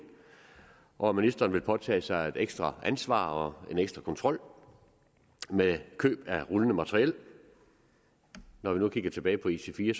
og at ministeren vil påtage sig et ekstra ansvar og en ekstra kontrol med køb af rullende materiel når vi nu kigger tilbage på ic4